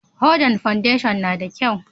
Hodan fandesho na da kyau?